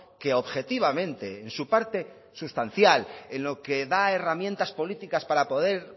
que objetivamente en su parte sustancial en lo que da herramientas políticas para poder